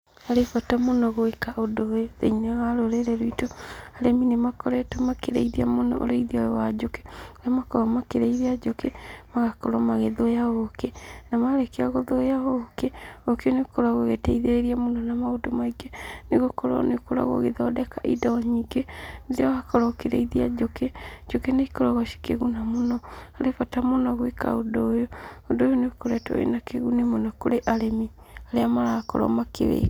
Harĩ bata mũno gwĩka ũndũ ũyũ thĩinĩ wa rũrĩrĩ rwitũ, arĩmi nĩ makoretwo makĩrĩithia mũno ũrĩithia ũyũ wa njũkĩ, kũrĩa makoragwo makĩrĩithia njũkĩ magakorwo magĩthũya ũkĩ, na marĩkia gũthũya ũkĩ, ũkĩ nĩ ũkoragwo ũgĩteithĩrĩria mũno na maũndũ maingĩ, nĩ gũkorwo nĩ ũkoragwo ũgĩthondeka indo nyingĩ. Rĩrĩa wakorwo ũkĩrĩithia njũkĩ, njũkĩ nĩ ikoragwo cikĩguna mũno, harĩ bata mũno gwika ũndũ ũyũ, ũndũ ũyũ nĩ ũkoretwo wĩna kĩguni mũno kũrĩ arĩmi arĩa marakorwo makĩwĩka.